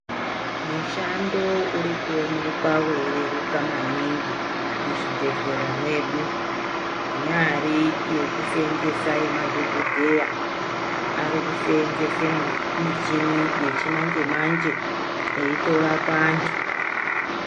Mushando uri kuonekwa weireruka maningi muzvibhedhlera mwedu. Inyari yekuseenzesa yema dhokodheya, arikuseenzesa michini yechimanje-manje eitorapa antu.